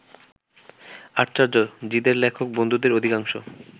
আশ্চর্য, জিদের লেখক বন্ধুদের অধিকাংশ